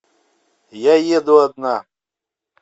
я еду одна